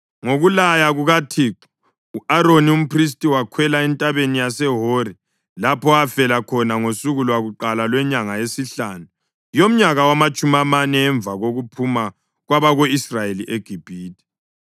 Ngokulaya kukaThixo, u-Aroni umphristi wakhwela eNtabeni yaseHori, lapho afela khona ngosuku lwakuqala lwenyanga yesihlanu yomnyaka wamatshumi amane emva kokuphuma kwabako-Israyeli eGibhithe.